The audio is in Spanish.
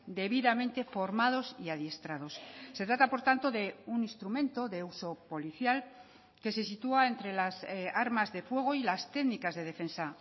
debidamente formados y adiestrados se trata por tanto de un instrumento de uso policial que se sitúa entre las armas de fuego y las técnicas de defensa